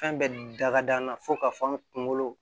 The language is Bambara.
Fɛn bɛɛ da ka d'an na fo k'a fɔ an kungolo